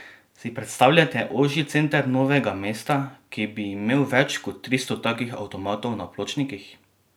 Si predstavljate ožji center Novega mesta, ki bi imel več kot tristo takih avtomatov na pločnikih?